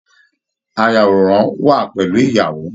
Ayàwòrán wà pẹlú ìyàwó.